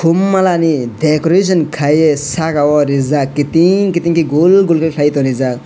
kom malani decoration kai ye saka o rijak kitin kitin ke gol gol kai tongrijak.